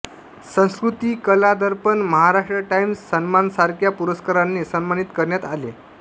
संस्कृती कला दर्पण महाराष्ट्र टाईम्स सन्मान सारख्या पुरस्काराने सन्मानित करण्यात आले